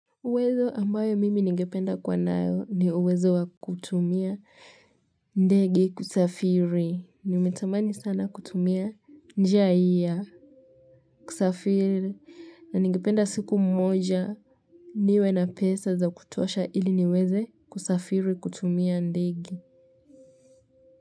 Uwezo ambao mimi ningependa kuwa nayo ni uwezo wa kutumia ndege kusafiri. Nimetamani sana kutumia njia jii ya kusafiri na ningependa siku moja. Niwe na pesa za kutosha ili niweze kusafiri kutumia ndege.